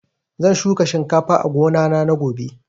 Zan shuka shinkafa a gona na gobe